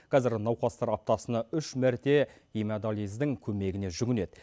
қазір науқастар аптасына үш мәрте гемодиализдің көмегіне жүгінеді